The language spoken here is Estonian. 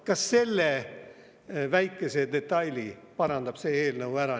Ka selle väikese detaili parandab see eelnõu ära.